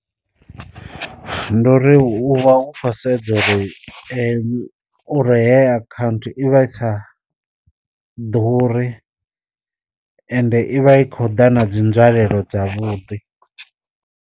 Ndo uri u vha u kho sedza uri uri hey akhaunthu i vha i sa ḓuri, ende i vha i kho ḓa na dzi nzwalelo dzavhuḓi.